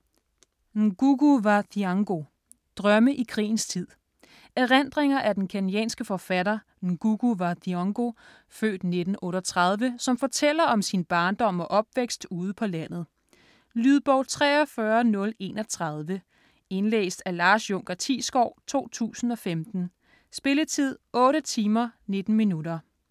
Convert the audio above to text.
Ngugi wa Thiong'o: Drømme i krigens tid Erindringer af den kenyanske forfattere, Ngugi wa Thiong'o (f. 1938), som fortæller om sin barndom og opvækst ude på landet. Lydbog 43031 Indlæst af Lars Junker Thiesgaard, 2015. Spilletid: 8 timer, 19 minutter.